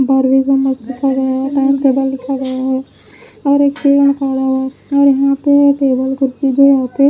बार वो एक आदमी हो जाता --